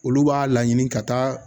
Olu b'a laɲini ka taa